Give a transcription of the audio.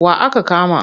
Wa aka kama?